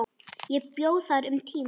Ég bjó þar um tíma.